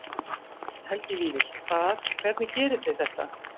Helgi Vífill: Hvað, hvernig gerið þið þetta?